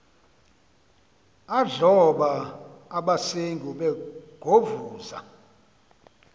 adloba abasengi begovuza